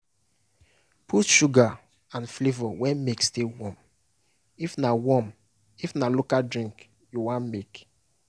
put sugar and flavour when milk still warm if na warm if na local drink you wan make.